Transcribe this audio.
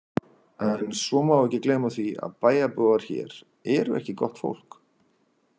En svo má ekki gleyma því að bæjarbúar hér eru ekki gott fólk.